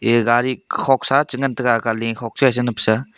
ig gari khoksa che ngan tega aga le khok sa che nap sa.